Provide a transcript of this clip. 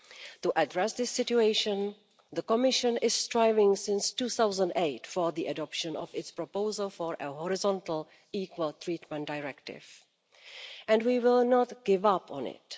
To address this situation, the Commission has been striving since 2008 for the adoption of its proposal for a Horizontal Equal Treatment Directive, and we will not give up on it.